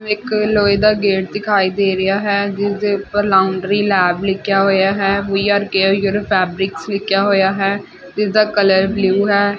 ਇੱਕ ਲੋਏ ਦਾ ਗੇਟ ਦਿਖਾਈ ਦੇ ਰਿਹਾ ਹੈ ਜਿਸਦੇ ਉਪਰ ਲਾਉਂਡਰੀ ਲੈਬ ਲਿਖਿਆ ਹੋਇਆ ਹੈ we are care your fabric ਲਿਖਿਆ ਹੋਇਆ ਹੈ ਇਸਦਾ ਕਲਰ ਬਲੂ ਹੈ।